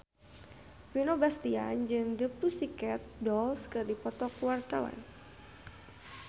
Vino Bastian jeung The Pussycat Dolls keur dipoto ku wartawan